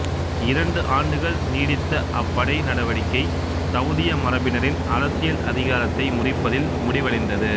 இரண்டு ஆண்டுகள் நீடித்த அப்படை நடவடிக்கை சவூதிய மரபினரின் அரசியல் அதிகாரத்தை முறிப்பதில் முடிவடைந்தது